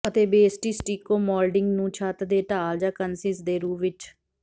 ਅਤੇ ਬੇਸਟੀ stucco moulding ਨੂੰ ਛੱਤ ਦੇ ਢਾਲ ਜਾਂ ਕੰਨਿਸ ਦੇ ਰੂਪ ਵਿਚ